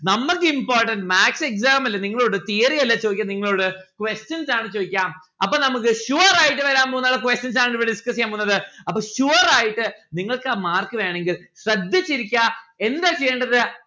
നമ്മൾക്ക് important maths exam ല് നിങ്ങളോട് theory അല്ല ചോദിക്കൽ നിങ്ങളോട് questions ആണ് ചോയിക്ക അപ്പൊ നമ്മുക്ക് sure ആയിട്ട് വരാൻ പോകുന്ന questions ആണ് ഇവിടെ discuss എയ്യാൻ പോകുന്നത്. അപ്പൊ sure ആയിട്ട് നിങ്ങൾക്ക് mark വേണെങ്കിൽ ശ്രദ്ധിച്ചിരിക്ക എന്താ ചെയ്യേണ്ടത്